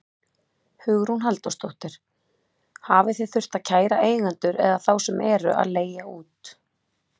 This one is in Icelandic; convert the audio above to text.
Hugrún Halldórsdóttir: Hafið þið þurft að kæra eigendur eða þá sem eru að leigja út?